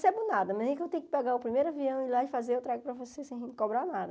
nada nem que eu tenha que pegar o primeiro avião ir lá e fazer, eu trago para você sem cobrar nada.